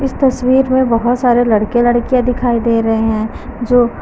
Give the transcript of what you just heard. तस्वीर में बहुत सारे लड़के लड़कियां दिखाई दे रहे हैं जो--